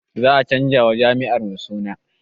Za a canza wa jami'ar mu suna